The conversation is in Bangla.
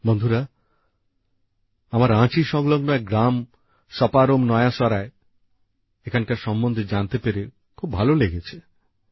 বন্ধুরা আমার রাঁচি সংলগ্ন এক গ্রাম সপারোম নয়া সরায় সম্বন্ধে জানতে পেরে খুব ভালো লেগেছে